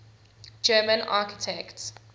german architects